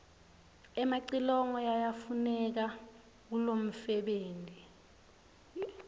emacilongo yayafuneka kulomfebenti